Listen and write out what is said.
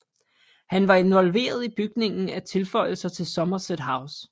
Han var involveret i opbygningen af tilføjelser til Somerset House